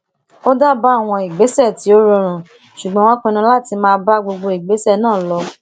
ó dábàá àwọn ìgbésè tí ó rọrùn ṣùgbọn wón pinnu láti máa bá gbogbo ìgbésè náà lọ